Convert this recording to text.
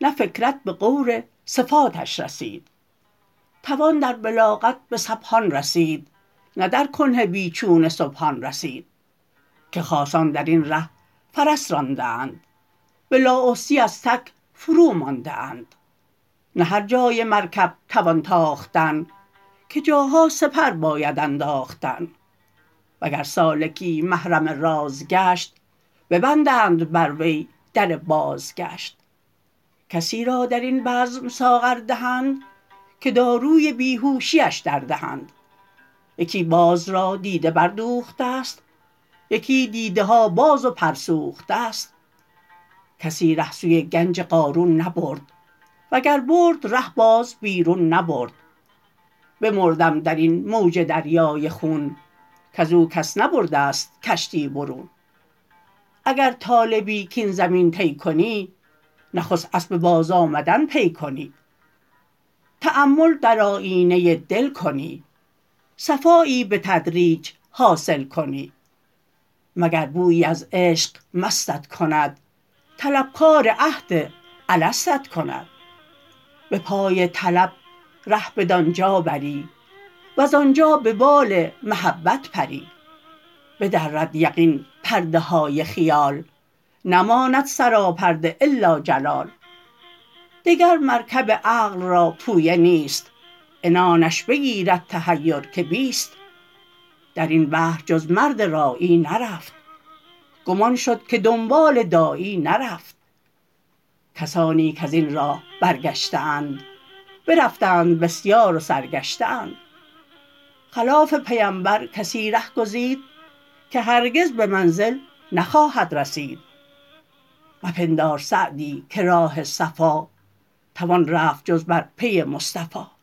نه فکرت به غور صفاتش رسید توان در بلاغت به سحبان رسید نه در کنه بی چون سبحان رسید که خاصان در این ره فرس رانده اند به لااحصیٖ از تک فرومانده اند نه هر جای مرکب توان تاختن که جاها سپر باید انداختن وگر سالکی محرم راز گشت ببندند بر وی در بازگشت کسی را در این بزم ساغر دهند که داروی بیهوشی اش دردهند یکی باز را دیده بردوخته ست یکی دیده ها باز و پر سوخته ست کسی ره سوی گنج قارون نبرد وگر برد ره باز بیرون نبرد بمردم در این موج دریای خون کز او کس نبرده ست کشتی برون اگر طالبی کاین زمین طی کنی نخست اسب بازآمدن پی کنی تأمل در آیینه دل کنی صفایی به تدریج حاصل کنی مگر بویی از عشق مستت کند طلبکار عهد الستت کند به پای طلب ره بدان جا بری وز آنجا به بال محبت پری بدرد یقین پرده های خیال نماند سراپرده إلا جلال دگر مرکب عقل را پویه نیست عنانش بگیرد تحیر که بیست در این بحر جز مرد راعی نرفت گم آن شد که دنبال داعی نرفت کسانی کز این راه برگشته اند برفتند بسیار و سرگشته اند خلاف پیمبر کسی ره گزید که هرگز به منزل نخواهد رسید مپندار سعدی که راه صفا توان رفت جز بر پی مصطفی